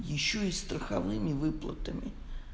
ещё и страховыми выплатами